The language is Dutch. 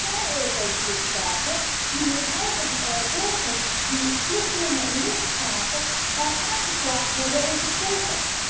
Maar er zijn Europese lidstaten die hun eigen burgers die vluchtelingen een lift gaven, aangeklaagd hebben en vervolgen.